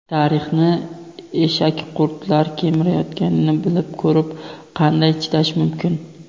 Tarixni eshakqurtlar kemirayotganini bilib ko‘rib qanday chidash mumkin?.